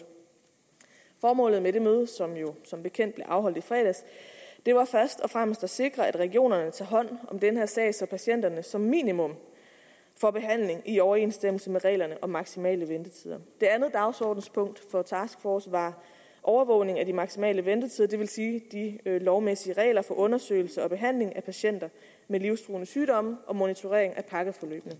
formålet med det møde som jo som bekendt blev afholdt i fredags var først og fremmest at sikre at regionerne tager hånd om den her sag så patienterne som minimum får behandling i overensstemmelse med reglerne om maksimale ventetider det andet dagsordenspunkt for taskforcen var overvågning af de maksimale ventetider det vil sige de lovmæssige regler for undersøgelse og behandling af patienter med livstruende sygdomme og monitorering af pakkeforløbene